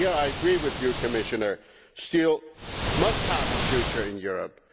Here I agree with you, Commissioner steel must have a future in Europe.